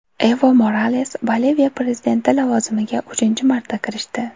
Evo Morales Boliviya prezidenti lavozimiga uchinchi marta kirishdi.